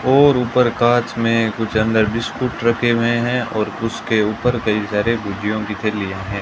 और ऊपर कांच में कुछ अंदर बिस्कुट रखे हुए हैं और उसके ऊपर कई सारे भुजियों की थैलियां है।